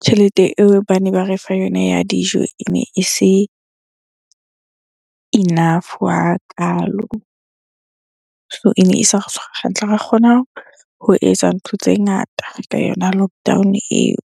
tjhelete eo bane ba re fa yona ya dijo e mne e se enough hakalo. So ene e sa re tshwara hantle, ha ra kgona ho etsa ntho tse ngata ka yona lockdown-o eo.